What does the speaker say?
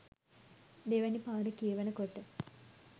දෙවැනි පාර කියවන කොට